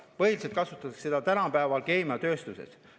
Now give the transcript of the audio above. Põhiliselt kasutatakse seda tänapäeval keemiatööstuses.